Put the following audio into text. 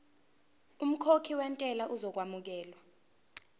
umkhokhi wentela uzokwamukelwa